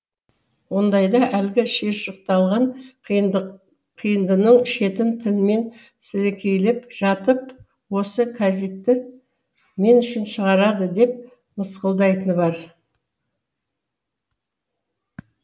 ондайда әлгі шиыршықталған қиындының шетін тілімен сілекейлеп жатып осы кәзитті мен үшін шығарады деп мысқылдайтыны бар